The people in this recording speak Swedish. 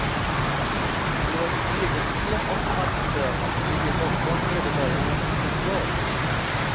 Deras regelsystem och maktutövning ligger bortom medborgarnas kontroll.